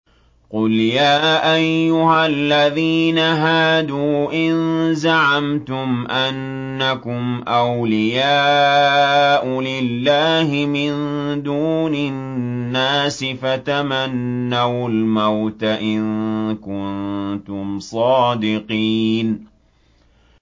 قُلْ يَا أَيُّهَا الَّذِينَ هَادُوا إِن زَعَمْتُمْ أَنَّكُمْ أَوْلِيَاءُ لِلَّهِ مِن دُونِ النَّاسِ فَتَمَنَّوُا الْمَوْتَ إِن كُنتُمْ صَادِقِينَ